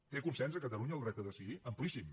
té consens a catalunya el dret a decidir amplíssim